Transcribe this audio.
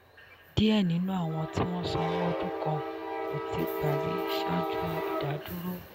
díẹ̀ nínú àwọn tí sanwó ọdún kàn kó tí parí ṣáájú ìdádúró.